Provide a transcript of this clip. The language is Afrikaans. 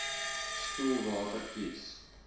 spoelwater kies